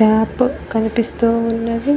Tap కనిపిస్తూ ఉన్నది.